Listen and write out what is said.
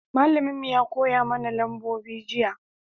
malamin mu ya koya mana nambobi jiya